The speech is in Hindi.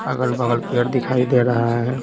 अगल-बगल पेड़ दिखाई दे रहा है।